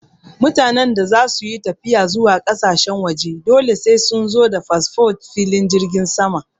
Mutanen da zasu yi tafiya zuwa ƙasashen waje dole sai sun zo da fasfo filin jirgin sama